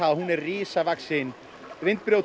að hún er risavaxinn